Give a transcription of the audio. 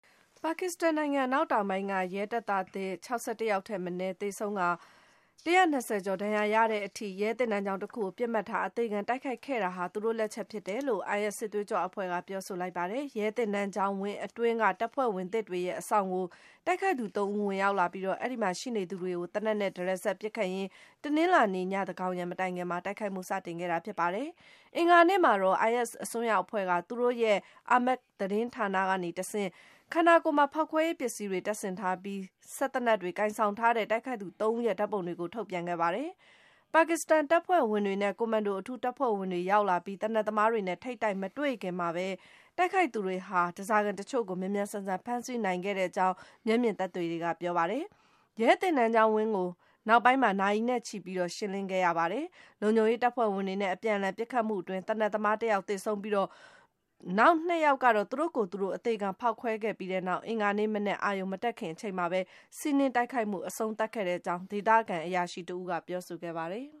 ပါကစ္စတန်နိုင်ငံ အနောက်တောင်ပိုင်းက ရဲတပ်သားသစ် ၆၁ ယောက်ထက်မနည်း သေဆုံးကာ ၁၂၀ ကျော် ဒဏ်ရာရခဲ့တဲ့အထိ - ရဲသင်တန်း ကျောင်းတခုကို ပစ်မှတ်ထား အသေခံတိုက်ခိုက်ခဲ့တာဟာ သူတို့လက်ချက်ဖြစ်တယ်လို့ IS စစ်သွေးကြွအဖွဲ့က ပြောဆိုလိုက်ပါတယ်။ ရဲသင်တန်းကျောင်းဝင်းအတွင်းက တပ်ဖွဲ့ဝင်သစ်တွေရဲ့ အဆောင်ကို တိုက်ခိုက်သူ ၃ ဦး ဝင်ရောက်လာပြီး၊ အဲဒီမှာရှိနေသူတွေကို သေနတ်နဲ့ တရစပ်ပစ်ခတ်ရင်း တနင်္လာနေ့ ညသန်းခေါင်ယံမတိုင်ခင်မှာ တိုက်ခိုက်မှု စတင်ခဲ့တာ ဖြစ်ပါတယ်။ အင်္ဂါနေ့မှာတော့ IS အစွန်းရောက်အဖွဲ့က သူတို့ရဲ့ Amaq သတင်းဌာနကတဆင့် - ခန္ဓာကိုယ်မှာ ဖောက်ခွဲရေးပစ္စည်းတွေ တပ်ဆင်ထားပြီး စက်သေနတ်တွေကိုင်ဆောင်ထားတဲ့ တိုက်ခိုက်သူ ၃ ဦးရဲ့ ဓာတ်ပုံတွေကို ထုတ်ပြန်ခဲ့ပါတယ်။ ပါကစ္စတန်တပ်ဖွဲ့ဝင်တွေနဲ့ ကွန်မန်ဒိုအထူးတပ်ဖွဲ့ဝင်တွေ ရောက်လာပြီး၊ သေနတ်သမားတွေနဲ့ ထိပ်တိုက်မတွေ့ခင်မှာပဲ - တိုက်ခိုက်သူတွေဟာ ဓားစာခံတချို့ကို မြန်မြန်ဆန်ဆန် ဖမ်းဆီးနိုင်ခဲ့ကြောင်း မျက်မြင်သက်သေတွေက ပြောဆိုပါတယ်။ ရဲသင်တန်းကျောင်းဝင်းကို နောက်ပိုင်းမှာ နာရီနဲ့ချီပြီး ရှင်းလင်းခဲ့ရပါတယ်။ လုံခြုံရေးတပ်ဖွဲ့ဝင်တွေနဲ့ အပြန်အလှန် ပစ်ခတ်မှုအတွင်း သေနတ်သမား ၁ ယောက် သေဆုံးခဲ့ပြီး၊ နောက် ၂ ယောက်ကတော့ သူတို့ကိုယ်သူတို့ အသေခံဖောက်ခွဲခဲ့ပြီးနောက် အင်္ဂါနေ့မနက် အာရုဏ်မတက်ခင်အချိန်မှာပဲ စီးနင်းတိုက်ခိုက်မှု အဆုံးသတ်ခဲ့ကြောင်း - ဒေသခံအရာရှိတဦးက ပြောဆိုခဲ့ပါတယ်